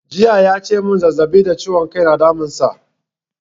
Jiya ya ce mun zazzaɓi da ciwon kai na damun sa